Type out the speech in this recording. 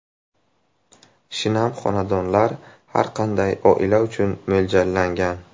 Shinam xonadonlar har qanday oila uchun mo‘ljallangan.